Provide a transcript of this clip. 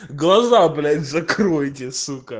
глаза блять закройте сука